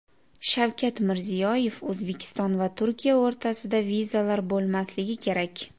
Shavkat Mirziyoyev: O‘zbekiston va Turkiya o‘rtasida vizalar bo‘lmasligi kerak .